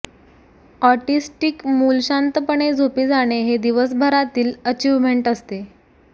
autistic मूल शांतपणे झोपी जाणे हे दिवसभरातील अचिव्हमेंट असते